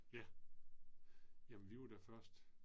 Ja. Jamen vi var da først